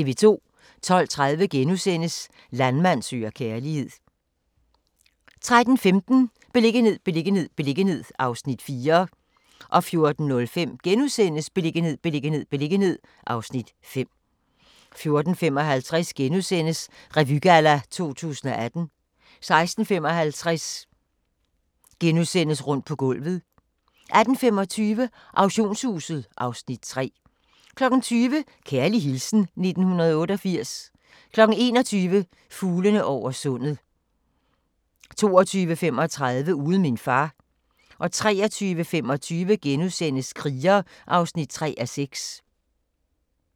12:30: Landmand søger kærlighed * 13:15: Beliggenhed, beliggenhed, beliggenhed (Afs. 4) 14:05: Beliggenhed, beliggenhed, beliggenhed (Afs. 5)* 14:55: Revygalla 2018 * 16:55: Rundt på gulvet * 18:25: Auktionshuset (Afs. 3) 20:00: Kærlig hilsen 1988 21:00: Fuglene over sundet 22:35: Uden min far 23:25: Kriger (3:6)*